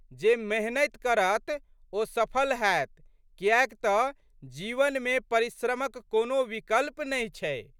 जे मेहनति करत ओ सफल हैत कियैक तऽ जीवनमे परिश्रमक कोनो विकल्प नहि छै।